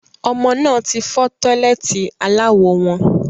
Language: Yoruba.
Ọmọ náà tí fọ́ tọ́lẹ́ẹ́tì aláwo wọn